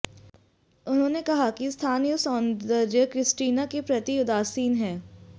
उन्होंने कहा कि स्थानीय सौंदर्य क्रिस्टीना के प्रति उदासीन है